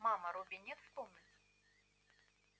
мама робби нет в комнате